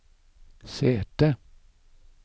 sete